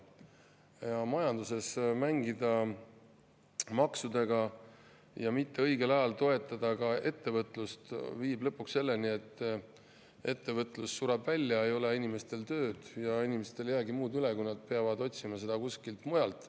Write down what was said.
Kui majanduses mängida maksudega ja mitte õigel ajal toetada ka ettevõtlust, siis viib see lõpuks selleni, et ettevõtlus sureb välja, inimestel ei ole tööd ja neil ei jäägi muud üle, kui nad peavad otsima tööd kuskilt mujalt.